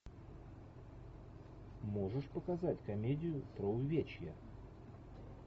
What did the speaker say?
можешь показать комедию про увечья